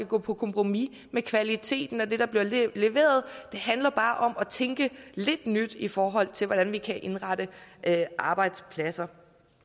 gå på kompromis med kvaliteten af det der bliver leveret det handler bare om at tænke lidt nyt i forhold til hvordan vi kan indrette arbejdspladser